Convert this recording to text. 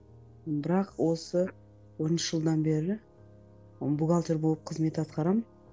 бірақ осы он үш жылдан бері бухгалтер болып қызмет атқарамын